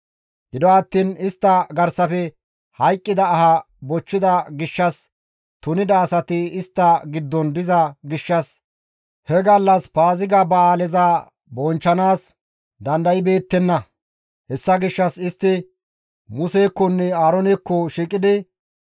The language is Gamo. Gido attiin istta garsafe hayqqida aha bochchida gishshas tunida asati istta giddon diza gishshas he gallas Paaziga ba7aaleza bonchchanaas dandaybeettenna; hessa gishshas istti Musekkonne Aaroonekko shiiqidi,